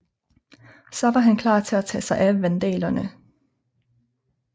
Så var han klar til at tage sig af vandalerne